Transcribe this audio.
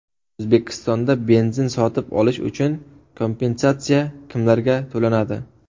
O‘zbekistonda benzin sotib olish uchun kompensatsiya kimlarga to‘lanadi?.